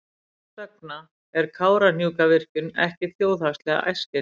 Þess vegna er Kárahnjúkavirkjun ekki þjóðhagslega æskileg.